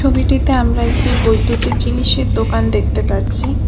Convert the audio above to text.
ছবিটিতে আমরা একটি বৈদ্যুতিক জিনিসের দোকান দেখতে পারছি।